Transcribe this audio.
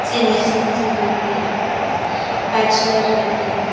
Senior citizen रहते हैं यहाँ पे बॅचलर रहते हैं।